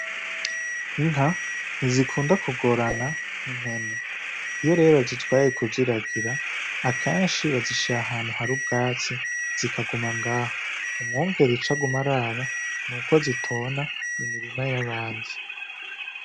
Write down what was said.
Inka ntizikunda kugorana impene iyo reba zizwaye kuziragira akenshi bazisha ahantu hari ubwatsi zikaguma ngaha umwungera icagumaraba ni uko zitona imirima y'abandi.